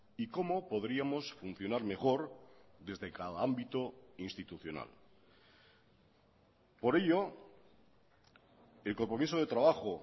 y cómo podríamos funcionar mejor desde cada ámbito institucional por ello el compromiso de trabajo